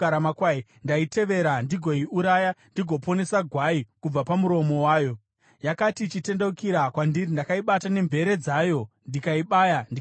ndaitevera, ndigoiuraya ndigoponesa gwai kubva pamuromo wayo. Yakati ichitendeukira kwandiri, ndakaibata nemvere dzayo, ndikaibaya ndikaiuraya.